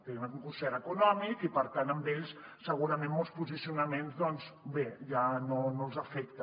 tenen un concert econòmic i per tant a ells segurament molts posicionaments doncs bé ja no els afecta